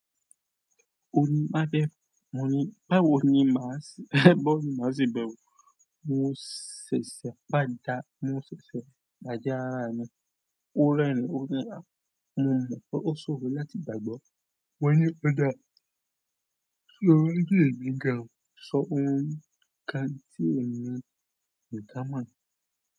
O ní, "Má bẹ̀rù." Mo ní, "Báwo ni màá ṣe, báwo ni màá ṣe bẹ̀rù?" Mo mo ṣẹ̀ṣẹ̀ padà, mo ṣẹ̀ṣẹ̀ pàdá ara mi ó rẹ́rìn-ín, ó ní mo mọ̀ pé ó ṣòro láti gbàgbọ́. Mo ní ó dáa lórí èdè Gà, sọ ohun kan tí èmi kò dá mọ̀.